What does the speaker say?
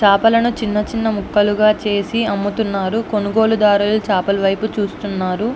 చేపలను చిన్న చిన్న ముక్కలుగా చేసి అమ్ముతున్నారు కొనుగోలు దారులు చేపల వైపు చూస్తున్నారు.